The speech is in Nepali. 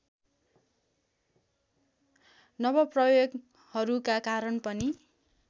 नवप्रयोगहरूका कारण पनि